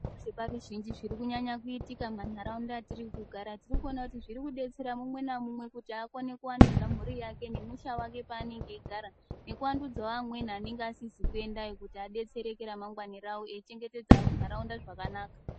Zvibaari zhinji zvirikunyanya kuitika mumantaraunda atiri kugara. Tirikuona kuti zviri kudetsera mumwe namumwe kuti akone kuvandudza mhuri yake nemusha wake paanenge eigara. Nekuandudzawo amweni anenge asizi kuendayo kuti adetsereke ramangwani ravo, eichengetedza nharaunda zvakanaka.